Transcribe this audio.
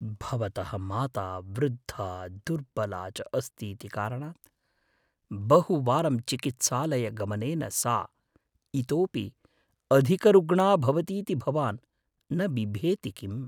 भवतः माता वृद्धा दुर्बला च अस्तीति कारणात्, बहुवारं चिकित्सालयगमनेन सा इतोपि अधिकरुग्णा भवतीति भवान् न बिभेति किम्?